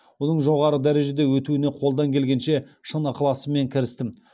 оның жоғары дәрежеде өтуіне қолдан келгенше шын ықыласыммен кірістім